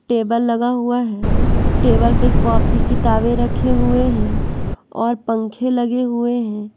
Table लगा हुआ है टेबल पे कॉपी किताबें रखे हुए हैं और पंखे लगे हुए हैं।